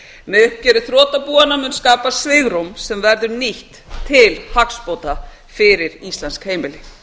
með uppgjöri þrotabúanna mun skapast svigrúm sem verður nýtt til hagsbóta fyrir íslensk heimili